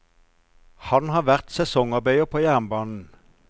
Han har vært sesongarbeider på jernbanen.